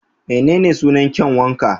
Menene sunan kyanwa ka?